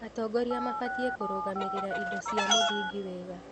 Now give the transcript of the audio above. Atongoria mabatiĩ kũrũgamĩrĩra indo cia mũthingi wega.